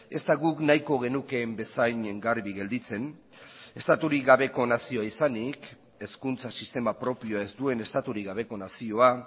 ez da guk nahiko genukeen bezain garbi gelditzen estaturik gabeko nazioa izanik hezkuntza sistema propioa ez duen estaturik gabeko nazioa